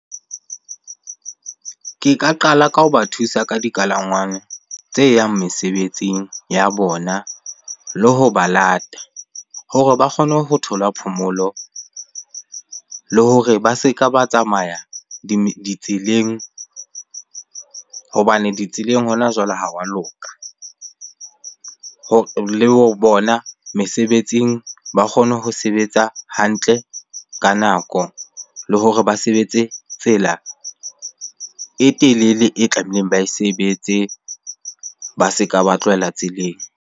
Ke ka qala ka ho ba thusa ka dikalangwang tse yang mesebetsing ya bona le ho ba lata. Hore ba kgone ho thola phomolo, le hore ba se ka ba tsamaya ditseleng hobane ditseleng hona jwale ha wa loka. Le ho bona mesebetsing ba kgone ho sebetsa hantle ka nako. Le hore ba sebetse tsela e telele e tlameileng ba e sebetse, ba se ka ba tlohela tseleng.